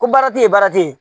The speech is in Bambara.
Ko baara te ye baara te yen